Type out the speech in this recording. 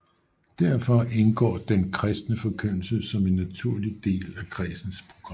Derfor indgår den kristne forkyndelse som en naturlig del af kredsens program